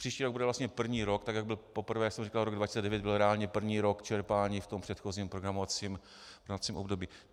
Příští rok bude vlastně první rok, tak jak byl poprvé, jak jsem říkal, rok 2009 byl reálně první rok čerpání v tom předchozím programovacím období.